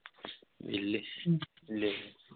ਵਿਹਲੇ ਸੀ